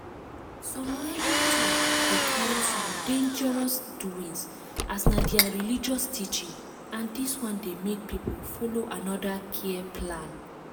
some reigning talk dey carry some dangerous doings as na their religious teaching and dis one dey make people follow another care plan.